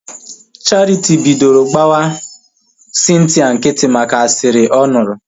Charity bidoro gbawa Cynthia nkịtị maka asịrị ọ nụrụ